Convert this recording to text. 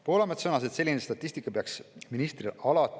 Poolamets sõnas, et selline statistika peaks ministril alati kaasas olema.